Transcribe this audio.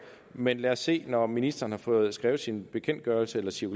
men lad os se når ministeren har fået skrevet sin bekendtgørelse eller sit